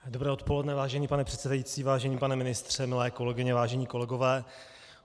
Dobré odpoledne, vážený pane předsedající, vážený pane ministře, milé kolegyně, vážení kolegové.